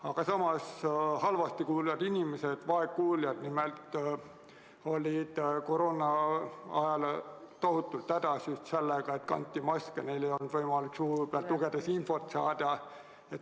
Aga samas olid vaegkuuljad koroonaajal tohutult hädas just sellega, et kanti maske – neil ei olnud võimalik suu pealt lugedes infot saada.